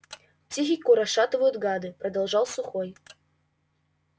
психику расшатывают гады продолжал сухой